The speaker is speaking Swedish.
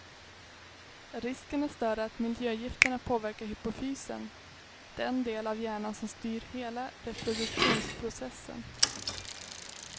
Risken är större att miljögifterna påverkar hypofysen, den del av hjärnan som styr hela reproduktionsprocessen.